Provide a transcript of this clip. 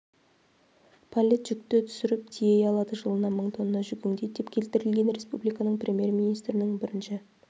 паллет жүкті түсіріп тией алады жылына мың тонна жүк өңдейді деп келтірілген республиканың премьер-министрінің бірінші